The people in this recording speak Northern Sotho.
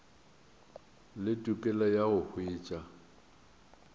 le tokelo ya go hwetša